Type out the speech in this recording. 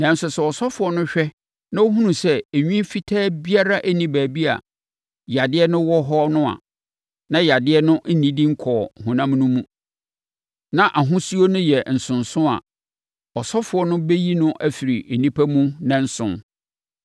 Nanso sɛ ɔsɔfoɔ no hwɛ na ɔhunu sɛ enwi fitaa biara nni baabi a yadeɛ no wɔ hɔ no, na yadeɛ no nnidi nkɔɔ honam no mu, na ahosuo no yɛ nsonso a, ɔsɔfoɔ no bɛyi no afiri nnipa mu nnanson.